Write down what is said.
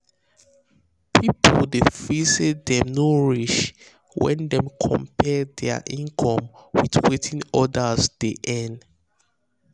people dey feel say dem no reach when dem compare their income with wetin others dey earn.